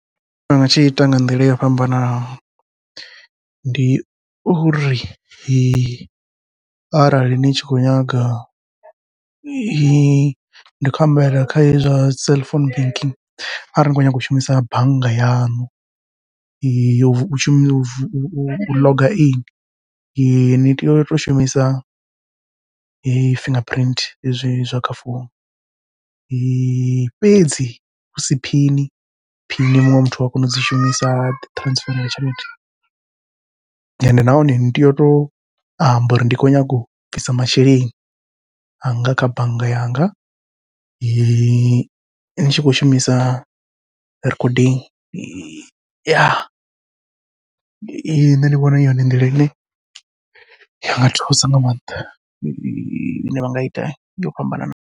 Tshine nda nga tshi ita nga nḓila yo fhambanaho ndi uri, arali ni tshi khou nyaga ndi khou ambela kha hezwi zwa cell phone banking arali ni khou nyanga u shumisa bannga yaṋu, u shuma u vu u ḽoga ini ni tea uto shumisa fingerprint hezwi zwa kha founu. fhedzi husi phini phini muṅwe muthu ua kona udzi shumisa a ḓi transfer la tshelede, ende nahone ni tea uto amba uri ndi khou nyanga u bvisa masheleni anga kha bannga yanga, ni tshi khou shumisa recording nṋe ndi vhona hu yone nḓila ine yanga thusa nga maanḓa ine vha nga ita yo fhambananaho.